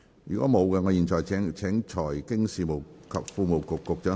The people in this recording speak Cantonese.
如果沒有，我現在請財經事務及庫務局局長答辯。